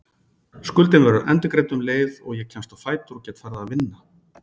Skuldin verður endurgreidd um leið og ég kemst á fætur og get farið að vinna.